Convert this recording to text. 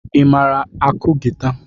I mara akụ gịta?